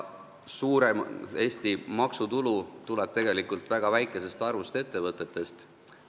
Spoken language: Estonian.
Suurem osa Eesti maksutulust tuleb tegelikult väga väikesest arvust ettevõtetest.